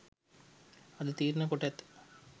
අද තීරණය කොට ඇත.